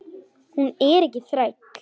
Hún er ekki þræll.